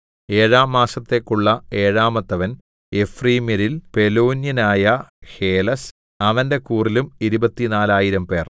ഏഴാം മാസത്തേക്കുള്ള ഏഴാമത്തവൻ എഫ്രയീമ്യരിൽ പെലോന്യനായ ഹേലെസ് അവന്റെ കൂറിലും ഇരുപത്തിനാലായിരംപേർ 24000